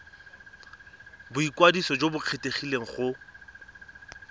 boikwadiso jo bo kgethegileng go